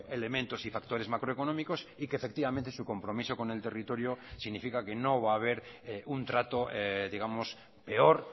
elementos y factores macroeconómicos y que efectivamente su compromiso con el territorio significa que no va a haber un trato digamos peor